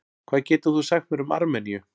Hvað getur þú sagt mér um Armeníu?